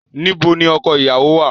Nibo ni ọkọ iyawo wa?